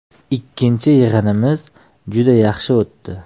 Ikkinchi yig‘inimiz juda ham yaxshi o‘tdi.